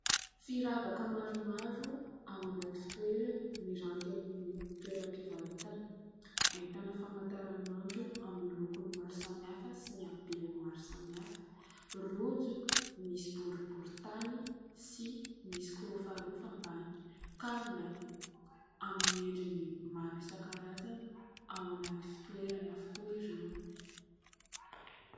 Firavaka maromaro ao anaty fitoerany miranty eny amin'ny toeram-pivarotana. Ahitana famantaran'andro amin'ny lokon'ny maro samihafa sy ny habeany maro samihafa, rojo misy boribory tany sy misy kirofarofa ambany, kavina amin'ny endriny maro isankarazany ao anaty fitoerany avokoa ireo.